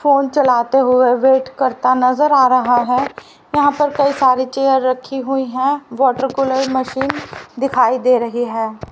Phone चलाते हुए wait करता नजर आ रहा है यहां पर कई सारी चेयर रखी हुई है वाटर कूलर मशीन दिखाई दे रही है।